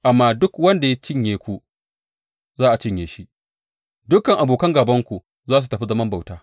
Amma duk wanda ya cinye ku za a cinye shi; dukan abokan gābanku za su tafi zaman bauta.